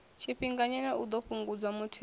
tshifhinganyana u ḓo fhungudza muthelogu